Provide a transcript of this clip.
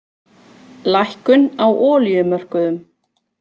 Lækkun á olíumörkuðum